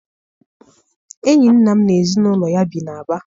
Enyi nna m n'ezinụlọ ya bi n'Aba.